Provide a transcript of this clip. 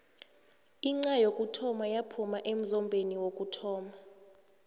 inxha yekhethu yaphuma emzombeni wokuthoma